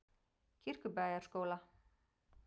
Kirkjubæjarskóla